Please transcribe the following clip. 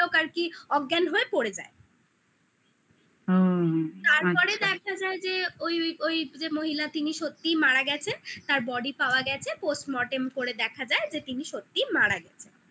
আর কি অজ্ঞান হয়ে পড়ে যায় হুম তারপরে দেখা যায় যে ওই ওই যে মহিলা তিনি সত্যিই মারা গেছে তার body পাওয়া গেছে postmortem করে দেখা যায় যে তিনি সত্যিই মারা গেছেন ।